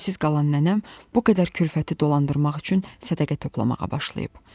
Çarəsiz qalan nənəm bu qədər külfəti dolandırmaq üçün sədəqə toplamağa başlayıb.